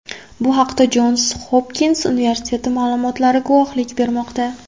Bu haqda Jons Hopkins universiteti ma’lumotlari guvohlik bermoqda.